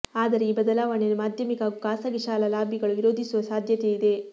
ಆದರೆ ಈ ಬದಲಾವಣೆಯನ್ನು ಮಾಧ್ಯಮಿಕ ಹಾಗೂ ಖಾಸಗಿ ಶಾಲಾ ಲಾಬಿಗಳು ವಿರೋಧಿಸುವ ಸಾಧ್ಯತೆಯಿದೆ